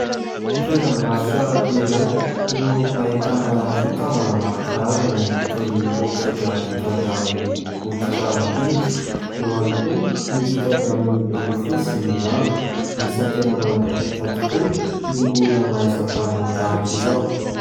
Toeram-barotra iray no ahitana fitaovana maro karazany toy ny poketra vita avy amin'ny hoditra ana biby, eo ihany koa ny vita avy amin'ny rofia sy ny lamba. Isany tena manan-talenta tokoa ny olona mahay asa tanana tahak'izao.